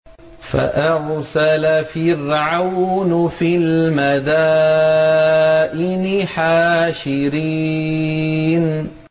فَأَرْسَلَ فِرْعَوْنُ فِي الْمَدَائِنِ حَاشِرِينَ